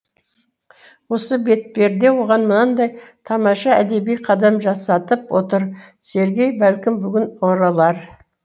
осы бетперде оған мынандай тамаша әдеби қадам жасатып отыр сергей бәлкім бүгін оралар